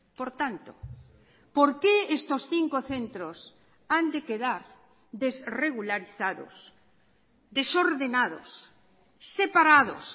por tanto por qué estos cinco centros han de quedar desregularizados desordenados separados